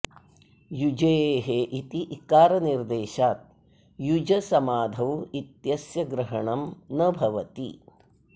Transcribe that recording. युजेः इति इकारनिर्देशात् युज समाधौ इत्यस्य ग्रहणं न भवति